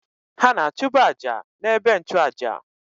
Ha na-achụbụ àjà na-ebe nnchu àjà